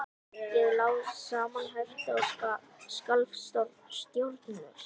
Ég lá samanherpt og skalf stjórnlaust.